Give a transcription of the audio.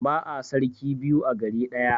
Ba'a sarki biyu a gari ɗaya.